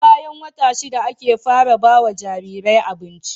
SE bayan wata shida ake fara bawa Jariri abinci